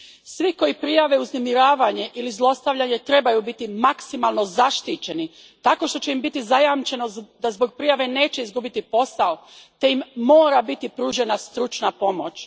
Svi koji prijave uznemiravanje ili zlostavljanje trebaju biti maksimalno zaštićeni tako što će im biti zajamčeno da zbog prijave neće izgubiti posao te im mora biti pružena stručna pomoć.